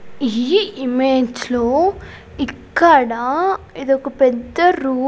ఈ ఇమేజ్ లో ఇక్కడ ఇదొక పెద్ద రో ----